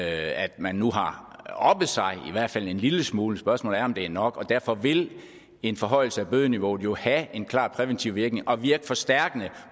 at man nu har oppet sig i hvert fald en lille smule spørgsmålet er om det er nok og derfor vil en forhøjelse af bødeniveauet jo have en klar præventiv virkning og virke forstærkende